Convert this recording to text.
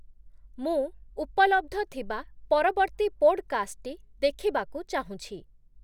ମୁଁ ଉପଲବ୍ଧ ଥିବା ପରବର୍ତ୍ତୀ ପୋଡକାଷ୍ଟଟି ଦେଖିବାକୁ ଚାହୁଁଛି